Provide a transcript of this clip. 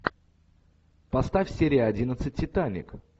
поставь серия одиннадцать титаник